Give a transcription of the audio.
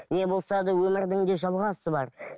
не болса да өмірдің де жалғасы бар